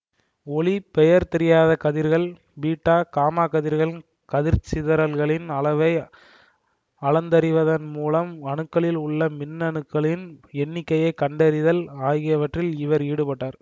ஒளி பெயர் தெரியாத கதிர்கள் பீட்டா காமாக் கதிர்களின் கதிர்ச் சிதறல்களின் அளவை அளந்தறிவதன் மூலம் அணுக்களில் உள்ள மின்னணுக்களின் எண்ணிக்கையை கண்டறிதல் ஆகியவற்றில் இவர் ஈடுபட்டார்